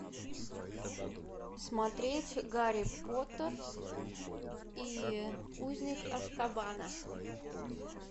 смотреть гарри поттер и узник азкабана